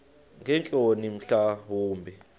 ngeentloni mhla wumbi